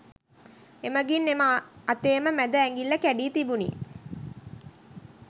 එමගින් එම අතේම මැද ඇඟිල්ල කැඩී තිබුණි